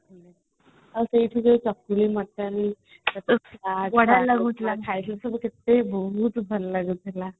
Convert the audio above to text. ଆଉ ସେଇଠି ଯୋଉ ମଟନ ଖାଇକି ସବୁ ବହୁତ ଭଲ ଲାଗୁଥିଲା